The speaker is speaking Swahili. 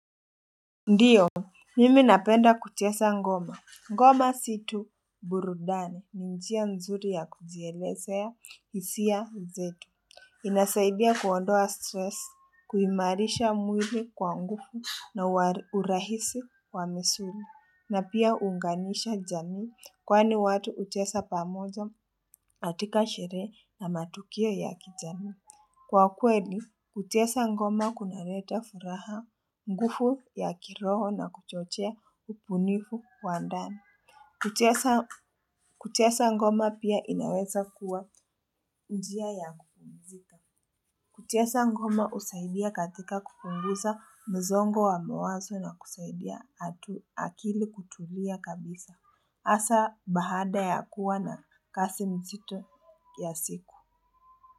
Ndiyo, mimi napenda kuchesa ngoma. Ngoma situ burudani ni njia nzuri ya kujieleza hisia zetu. Inasaidia kuondoa stress, kuimarisha mwili kwa ngufu na urahisi wa misuli. Na pia uunganisha jamii kwani watu uchesa pamoja atika shere na matukio ya kijamii. Kwa kweli, kuchesa ngoma kunareta furaha ngufu ya kiroho na kuchochea ubunifu wa ndani. Kuchesa ngoma pia inaweza kuwa njia ya kupumzika. Kuchesa ngoma usaidia katika kupunguza mzongo wa mawazo na kusaidia atu akili kutulia kabisa. Asa bahada ya kuwa na kasi mzito ya siku.